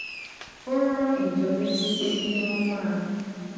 ó rán ìjọ létí pé kí wón máa